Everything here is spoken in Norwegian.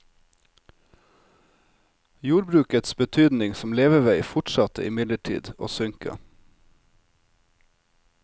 Jordbrukets betydning som levevei fortsatte imidlertid å synke.